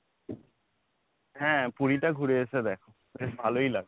হ্যাঁ পুরীটা ঘুরে এসে দেখো বেশ ভালোই লাগবে।